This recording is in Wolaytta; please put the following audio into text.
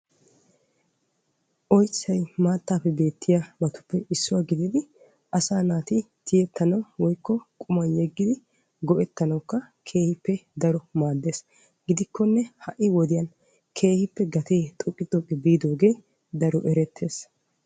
Oyssay maatappe beettiyaba gididdi tiyettanawunne maanawu maades. Gidikkonne ha'i wodiyan gatee keehippe xoqqi xoqqi biidogee erettees.